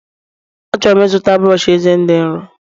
A chọrọ m ịzụta brọsh eze dị nro